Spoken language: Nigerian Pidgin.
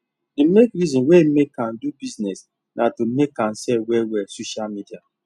the main reason wey make am do bussines na to make am sell well well social media